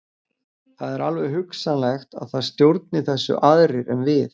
Það er alveg hugsanlegt að það stjórni þessu aðrir en við.